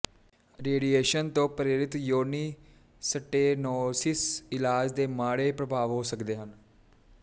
radiation ਤੋਂ ਪ੍ਰੇਰਿਤ ਯੋਨੀ ਸਟੇਨੋਸਿਸ ਇਲਾਜ ਦੇ ਮਾੜੇ ਪ੍ਰਭਾਵ ਹੋ ਸਕਦੇ ਹਨ